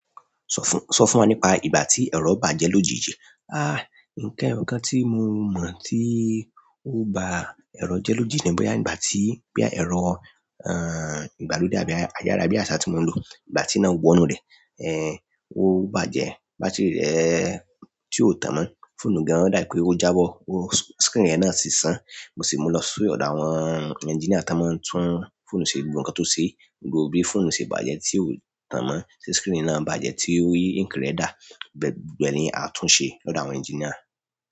Sọ fún, sọ fún wa nípa ìgbà tí ẹ̀rọ bàjẹ́ lójijì. Ah, nǹkan kan tí mo mọ̀ tí ó ba ẹ̀rọ jẹ́ lójijì ni bóyá ìgbà tí boya ẹ̀rọ, uh, ìgbàlódé àbí ayárabíàṣá tí mo ń lo, ìgbà tí iná wọ inú rẹ̀, eh, ó bàjẹ́. Bátìrì rẹ̀ tí ò tàn mọ́. Fóònù gan o dá bi pẹ́ ó jábọ́, o-- screen rẹ̀ náà sì san. Mo sì mú lọ sí ọ̀dọ̀ àwọn engineer tan mo ń tún fóònù ṣe gbogbo nǹkan tó ṣe. Gbogbo bí fóònù ṣe bàjẹ́ tí ò tàn mọ́, tí screen náà bàjẹ́ tí ink rẹ̀ dà, gbogbo ẹni a tún ṣe lọ́dọ̀ àwọn engineer.